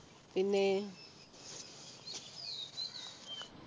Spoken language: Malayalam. പിന്ന